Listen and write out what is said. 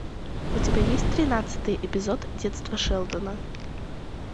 у тебя есть тринадцатый эпизод детство шелдона